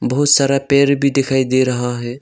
बहुत सारा पेड़ भी दिखाई दे रहा है।